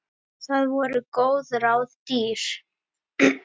Það voru góð ráð dýr.